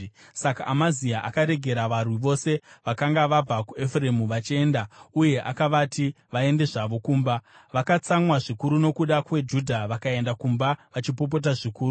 Saka Amazia akaregera varwi vose vakanga vabva kuEfuremu vachienda uye akavati vaende zvavo kumba. Vakatsamwa zvikuru nokuda kweJudha vakaenda kumba vachipopota zvikuru.